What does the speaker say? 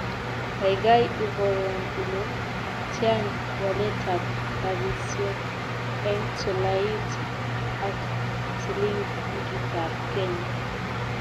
Kaigai iborwon ile tian waletap rabisyek eng' tolait ak silingiitab kenya